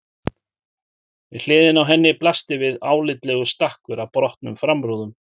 Við hliðina á henni blasti við álitlegur stakkur af brotnum framrúðum.